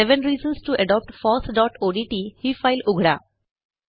seven reasons to adopt fossओडीटी ही file उघडा